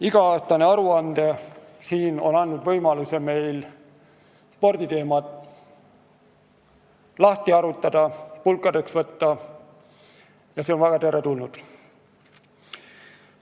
Iga-aastase aruande siin esitamine on andnud meile võimaluse sporditeemat lahti harutada ja pulkadeks võtta – see on väga teretulnud.